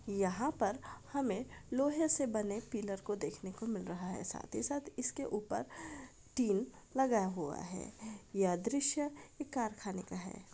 यहाँ पर हमें लोहे से बने पिलर को देखने को मिल रहा है। साथ ही साथ इसके ऊपर टीन लगा हुआ है। यह दृश्य एक कारखाने का है।